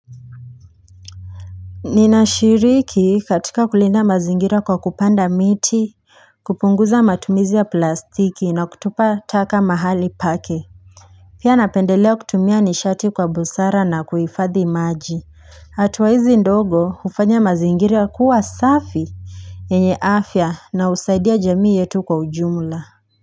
Ninashiriki katika kulinda mazingira kwa kupanda miti, kupunguza matumizi ya plastiki na kutupa taka mahali pake. Pia napendelea kutumia nishati kwa busara na kuhifadhi maji. Atua hizi ndogo, hufanya mazingira kuwa safi. Enye afya na husaidia jamii yetu kwa ujumla.